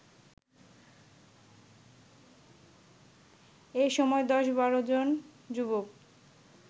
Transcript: এ সময় ১০/১২ জন যুবক